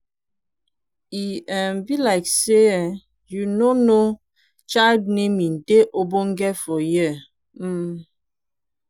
e um be like say um you no know child naming dey ogbonge for here um.